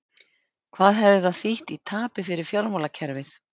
Hvað hefði það þýtt í tapi fyrir fjármálakerfið?